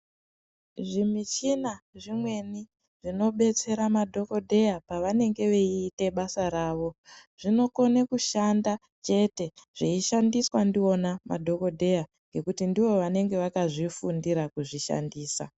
Zvimichina zvimweni zvinobetsera madhokodheya pavanenge veiite basa ravo, zvinokone kushanda chete, zveishandiswa ndiwona madhokodheya ,ngekuti ndivo vanenge vakazvifundira kuzvishandisa.